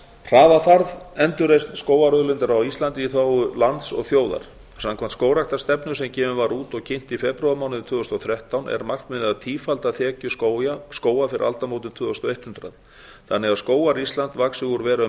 hraða þarf endurreisn skógarauðlindar á íslandi í þágu lands og þjóðar samkvæmt skógræktarstefnu sem gefin var út og kynnt í febrúarmánuði tvö þúsund og þrettán er markmiðið að tífalda þekju skóga fyrir aldamótin tvö þúsund og eitt hundrað þannig að skógar íslands vaxi úr að vera um